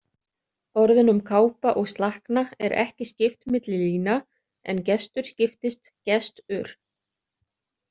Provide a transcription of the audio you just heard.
Orðunum kápa og slakna er ekki skipt milli lína en gestur skiptist gest-ur.